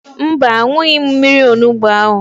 Mba, an̄ụghị m mmiri onugbo ahụ.